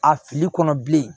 A fili kɔnɔ bilen